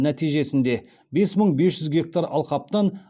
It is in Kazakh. нәтижесінде бес мың бес жүз гектар алқаптан